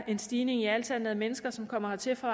en stigning i antallet af mennesker som kommer hertil for